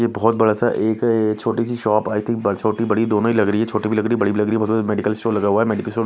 ये बहुत बड़ा सा एक छोटी सी शॉप आई थिंक छोटी बड़ी दोनों ही लग रही है छोटी भी लग रही है बड़ी भी लग रही है मेडिकल स्टोर लग रहा है मेडिकल स्टोर --